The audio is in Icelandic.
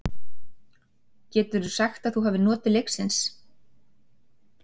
Geturðu sagt að þú hafir notið leiksins?